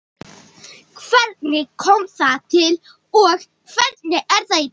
Hvernig kom það til og hvernig er það í dag?